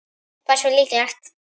Hversu líklegt?